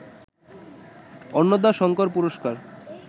অন্নদাশঙ্কর পুরস্কার